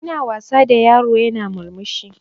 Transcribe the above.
Ina wasa da yaro yana murmushi